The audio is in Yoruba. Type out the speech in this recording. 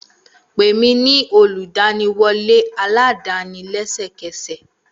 Pè mí ní olùgbaniwọlé aládàáni lẹ́sẹ̀kẹsẹ̀!